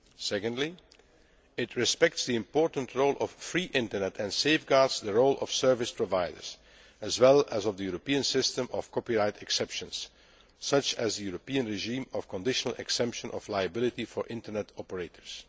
Secondly, it respects the important role of free Internet and safeguards the role of service providers, as well as the European system of copyright exceptions, such as the European regime of conditional exemption of liability for Internet operators.